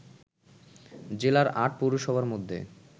জেলার ৮ পৌরসভার মধ্যে